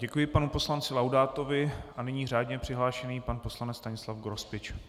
Děkuji panu poslanci Laudátovi a nyní řádně přihlášený pan poslanec Stanislav Grospič.